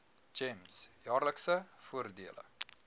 gems jaarlikse voordele